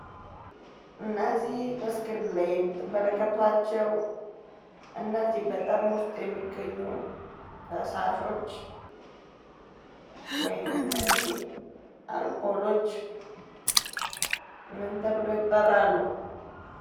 እነዚህ በስክሪኑ ላይ የምትመለከቷቸው እነዚህ በጣም ውስጥ የሚገኙ ፈሳሾች ወይም እነዚህ አልኮሎች ምን ተብለው ይጠራሉ?